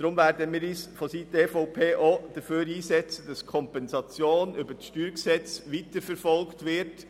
Deshalb wird sich die EVP auch dafür einsetzen, dass die Kompensation über das StG weiterverfolgt wird.